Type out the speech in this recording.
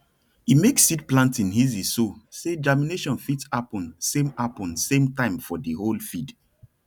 for loamy farmland wey we wey we manage well crops dey grow plenty and strong